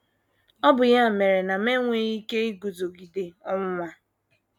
Ọ bụ ya mere na enweghị m ike iguzogide ọnwụnwa.